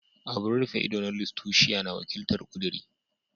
Abun rufe ido na Lustitia na wakiltar "Kuduri."